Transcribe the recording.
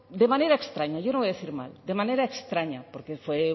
de manera extraña yo no voy a decir mal de manera extraña porque fue